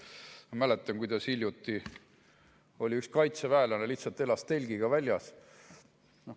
Ma mäletan, kuidas hiljuti üks kaitseväelane elas lihtsalt telgis.